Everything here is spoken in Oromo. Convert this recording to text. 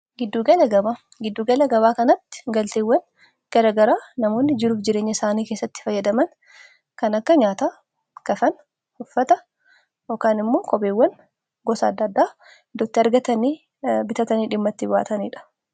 giddu gala gabaa. giddu gala gabaa kanaatti galteewwan garagara namoonni jiruuf jireenya isaanii keessatti fayyadaman kan akka nyaata kafana uffata yookaan immoo kopheewwan gosa adda addaa iddootti argatanii bitatanii dhimma itti baataniidha